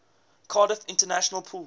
cardiff international pool